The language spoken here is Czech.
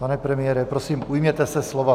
Pane premiére, prosím, ujměte se slova.